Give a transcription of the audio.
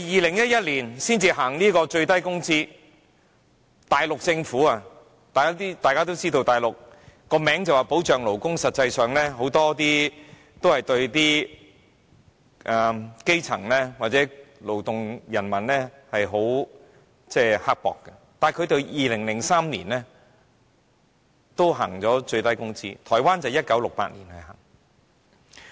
大家也知道，即使是內地政府，雖然其名義上說保障勞工，但實際上對基層和勞動人民都很刻薄，但它在2003年也制訂了最低工資，台灣則是在1968年實施。